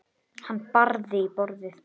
Hann barði í borðið.